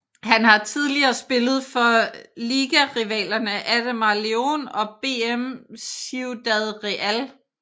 Han har tidligere spillet for ligarivalerne Ademar León og BM Ciudad Real